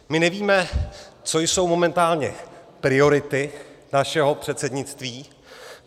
My nevíme, co jsou momentálně priority našeho předsednictví.